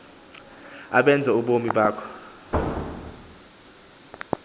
abenze ubomi bakho